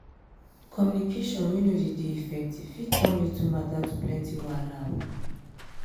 communication wey no de effective fit turn little matter to plenty wahala